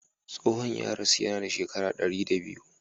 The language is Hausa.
Tsohon ya rasu yana da shekara dari da biyu.